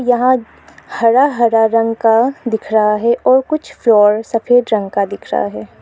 यहां हरा हरा रंग का दिख रहा है और कुछ फ्लोर सफेद रंग का दिख रहा है।